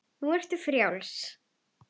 Nú ertu frjáls.